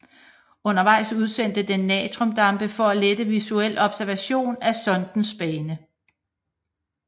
Undervejs udsendte den natriumdampe for at lette visuel observation af sondens bane